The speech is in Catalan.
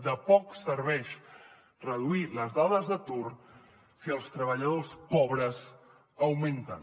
de poc serveix reduir les dades d’atur si els treballadors pobres augmenten